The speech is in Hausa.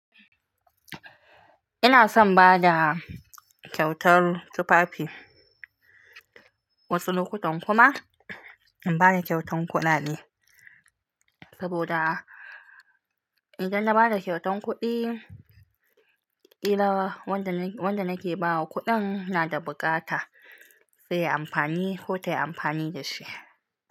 Inason bada ƙyautar tufafi. Wasu lokutan kuma in bada kyautan kuɗaɗe, saboda idan na bada kyautan kuɗi, ƙila wanda nake bawa kuɗin na da bukata. Sai yayi amfani ko tayi amfani dashi.